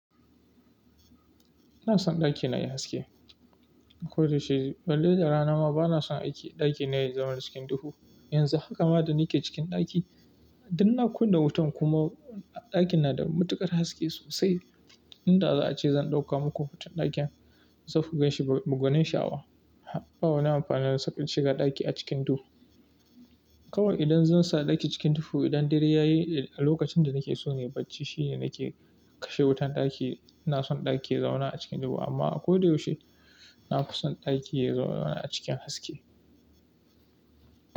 Ina son ɗakina yayi haske. Ko da yaushe balle da rana ma bana son aiki ɗakina yayi zaman cikin duhu. Yanzu haka ma da nike cikin ɗaki, duk na kunna wutan kuma ɗakin na da matukar haske sosai. Inda za a ce zan ɗauka muku hoton ɗakin, za ku gan shi bugun shawa. Ba wa ni amfanin sakar shiga ɗaki a cikin duhu. Kawai idan zan sa ɗaki cikin duhu, idan dare yayi a lokacin da nike so na yi bacci shine nake kashe wutan ɗaki. Ina son ɗaki ya zauna a cikin duhu amma ko da yaushe na fi son ɗaki ya yi zaune a cikin haske.